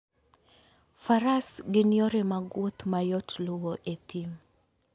Faras gin yore mag wuoth ma yot luwo e thim.